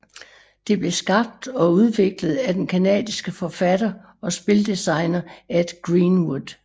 Det blev skabt og udviklet af den canadiske forfatter og spildesigner Ed Greenwood